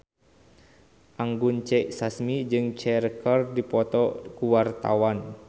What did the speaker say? Anggun C. Sasmi jeung Cher keur dipoto ku wartawan